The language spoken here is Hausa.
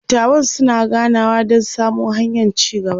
dattawan suna ganawa Dan samo hanyan ci gaba